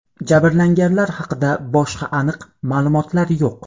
Jabrlanganlar haqida boshqa aniq ma’lumotlar yo‘q.